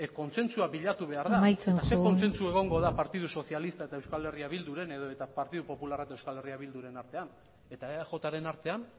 kontsentsua bilatu behar da amaitzen joan ba zein kontsensu egongo da partidu sozialista eta euskal herria bilduren edota partidu popularrak euskal herria bilduren artean eta eajren artean